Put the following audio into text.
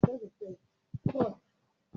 Máa lọ rí olùkọ́ fònẹ́tìkì wa ní ọ̀la